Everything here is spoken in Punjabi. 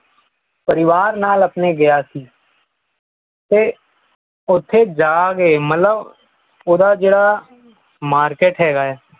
ਪਰਿਵਾਰ ਨਾਲ ਆਪਣੇ ਗਿਆ ਸੀ ਤੇ ਉੱਥੇ ਜਾਕੇ ਮਤਲਬ ਉਹਦਾ ਜੁੜਦਾ market ਹੈਗਾ ਹੈ